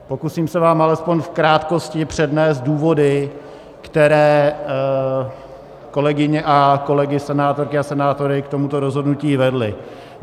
Pokusím se vám alespoň v krátkosti přednést důvody, které kolegyně a kolegy senátorky a senátory k tomuto rozhodnutí vedly.